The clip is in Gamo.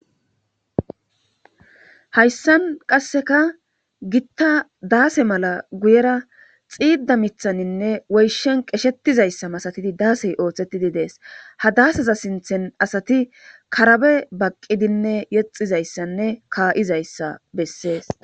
Hayssan qasseka gita daase mala guyera xiida miththanine woyshshen qeshetizayssa masatidi daasey oothetidi dees ha daaseza sinththen asati karabe baqidinne yexxizayssanne ke'izayssa bessees.